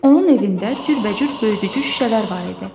Onun evində cürbəcür böyüdücü şüşələr var idi.